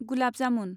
gulab jamun